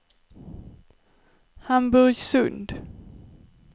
Hamburgsund